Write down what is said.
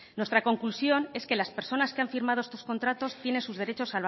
nuestra conclusión es que las personas que han firmado estos contratos tienen sus derechos